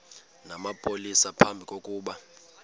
namapolisa phambi kokuba